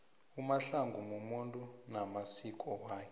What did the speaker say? umahlangu mumuntu namasiko wakhe